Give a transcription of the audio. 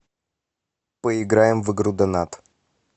поиграем в игру донат